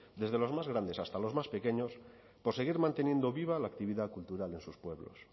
desde los más grandes hasta los más pequeños por seguir manteniendo viva la actividad cultural de sus pueblos